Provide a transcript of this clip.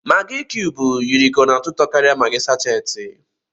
Maggi kiyubu yiri ka ọ na-atọ ụtọ karia maggi sáchééti